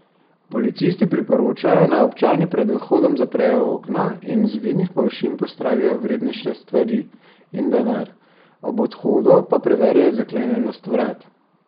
Policisti priporočajo, naj občani pred odhodom zaprejo okna in z vidnih površin pospravijo vrednejše stvari in denar, ob odhodu pa preverijo zaklenjenost vrat.